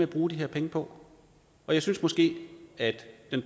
at bruge de her penge på jeg synes måske at